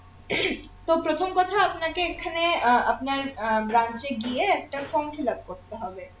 তো প্রথোম কথা আপনাকে এখানে আহ আপনার আহ branch এ গিয়ে একটা form fillup করতে হবে